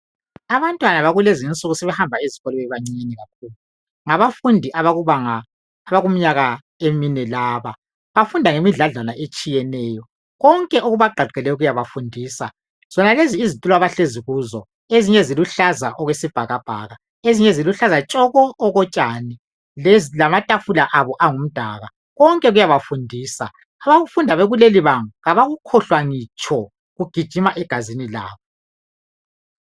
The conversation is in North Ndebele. Abantwana bakulezinsuku sebehamba esikolo bebancinyane kakhulu ngabafundi abakumnyakaemine laba bafunda ngemidladlana etshiyeneyo. Konke okubagqagqeleyo kuyabefundisa. Zonalezo izitulo abahlezi kizo ezinye eziluhlaza okwesibhakabhaka ezinye eziluhlaza tshoko okotshani lamatafula abo angumdaka. Konke kuyabefundisa, abakufunda bekulelibanga abakukhohlwa ngitsho kugijima egazini labo.